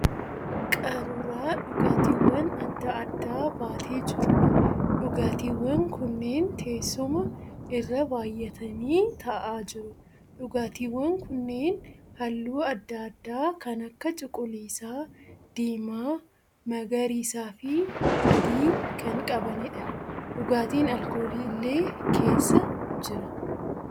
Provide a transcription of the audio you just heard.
Qaruuraa dhugaatiiwwan adda addaa baatee jiruudha. Dhugaatiiwwan kunneen teessuma irra baayyatanii ta'aa jiru. Dhugaatiiwwan kunneen halluu adda addaa kan akka cuquliisaa, diimaa, magariisaa fi adii kan qabaniidha. Dhugaatiin alkoolii illee keessa jira.